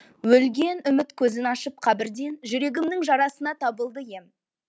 өлген үміт көзін ашып қабірден жүрегімнің жарасына табылды ем